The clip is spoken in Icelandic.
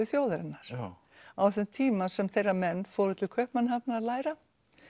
þjóðarinnar á þeim tíma sem þeirra menn fóru til Kaupmannahafnar að læra